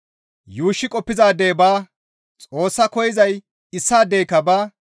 Yuushshi qoppizaadey baa; Xoos koyzay issaadeyka baa.